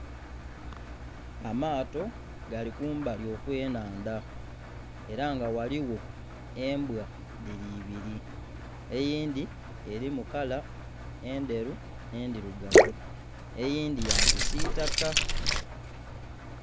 Amaato gali kumbali okw'enhandha ela nga ghaligho embwa dhili ibili, eyindhi elimu kala endheru n'endhirugavu eyindhi ya kisiitaka.